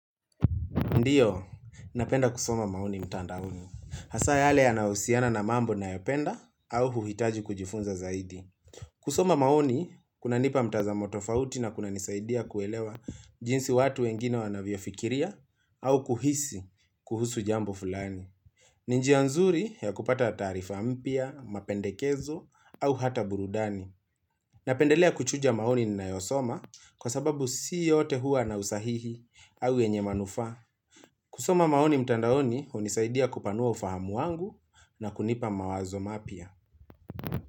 Ndiyo, napenda kusoma maoni mtandaoni. Hasa yale yana husiana na mambo nayop enda au huhitaji kujifunza zaidi. Kusoma maoni, kuna nipa mtazamo tofauti na kuna nisaidia kuelewa jinsi watu wengine wanavyo fikiria au kuhisi kuhusu jambo fulani. Ni njia nzuri ya kupata taarifa mpya, mapendekezo au hata burudani. Napendelea kuchuja maoni nina yosoma kwa sababu si yote hua na usahihi au yenye manufaa. Kusoma maoni mtandaoni hunisaidia kupanua ufahamu wangu na kunipa mawazo mapya.